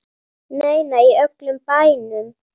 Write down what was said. Nei, nei, í öllum bænum.